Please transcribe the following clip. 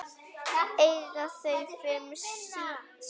Eiga þau fimm syni.